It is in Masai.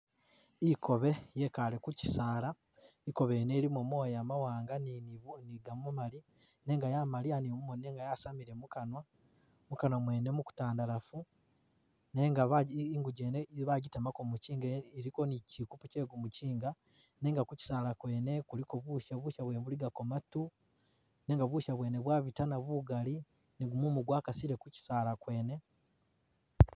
Ikobe yekaale kukisaala, ikobe yene ilimo moya mawaanga ni biga gamamali nenga yamaliya ni mumoni nenga yasamile mukanwa, mukwanwa mwene mukutandalaafu nenga bagi inguje yene bajitemako mukinga iliko ni kikupu kye gumukinga, nenga ku kisaala kyene kuliko busha, busha bwene buligako matu nenga busha bwene bwabitana bugali ni gumumu gwakasile ku kisaala kwene.